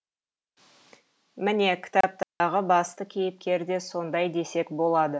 міне кітаптағы басты кейіпкер де сондай десек болады